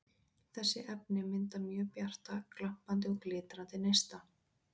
Þessi efni mynda mjög bjarta, glampandi og glitrandi neista.